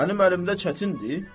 Mənim əlimdə çətindir?